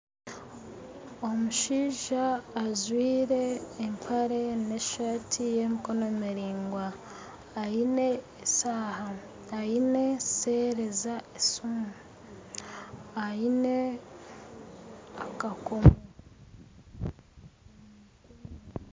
Omushaija ajwire empare n'esaati y'emikono miraingwa aine eshaaha aine sereeza esiimu aine akakoomo